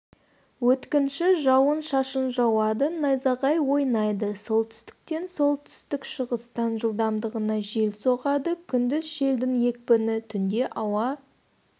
өткінші жауан-шашын жауады найзағай ойнайды солтүстістен солтүстік-шығыстан жылдамдығына жел соғады күндіз желдің екпіні түнде ауа